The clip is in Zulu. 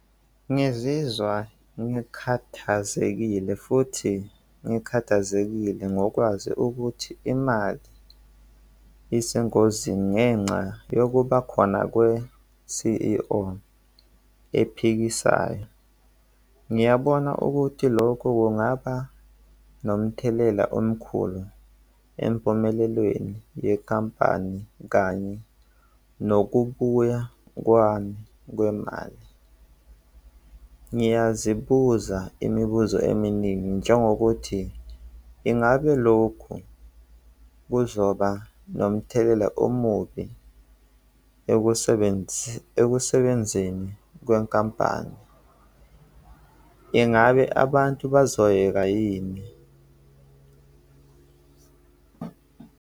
Ngizizwa ngikhathazekile futhi ngikhathazekile ngokwazi ukuthi imali isengozi ngenxa yokuba khona kwe-C_E_O ephikisayo. Ngiyabona ukuthi lokhu kungaba nomthelela omkhulu empumelelweni yekhampani kanye nokubuya kwami kwemali. Ngiyazibuza imibuzo eminingi njengokuthi ingabe lokhu kuzoba nomthelela omubi ekusebenzeni kwenkampani. Ingabe abantu bazoyeka yini?